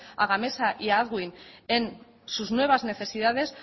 a gamesa y a en sus nuevas necesidades